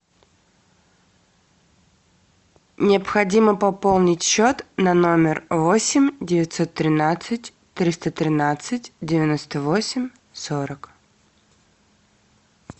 необходимо пополнить счет на номер восемь девятьсот тринадцать триста тринадцать девяносто восемь сорок